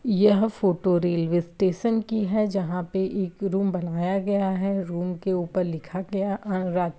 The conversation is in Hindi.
यह फोटो रेलवे स्टेशन की है। जहाँ पे एक रूम बनाया गया है। रूम के ऊपर लिखा गया है। अरा --